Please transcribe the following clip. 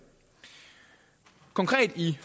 konkret i